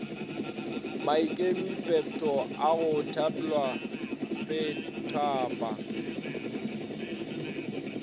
maikemipetpo a go tpwela petphaba